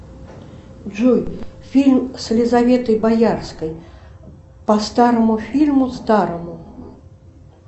джой фильм с елизаветой боярской по старому фильму старому